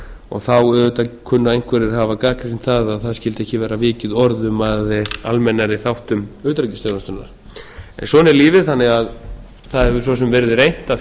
og þá auðvitað kunna einhverjir að hafa gagnrýnt það að það skyldi ekki vera vikið orðum að almennari þáttum utanríkisþjónustunnar svona er lífið það hefur svo sem verið reynt að